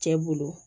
Cɛ bolo